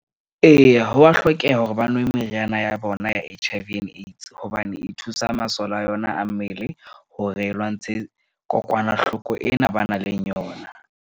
Eya, ho wa hlokeha hore ba nwe meriana ya bona ya H_I_V and AIDS. Hobane e thusa masole a yona a mmele hore e lwantshe kokwanahloko ena ba nang le yona.